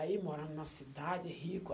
Aí morando numa cidade, rico.